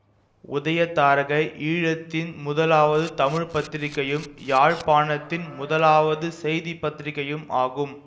உதயதாரகை ஈழத்தின் முதலாவது தமிழ் பத்திரிகையும் யாழ்ப்பாணத்தின் முதலாவது செய்தி பத்திரிகையும் ஆகும்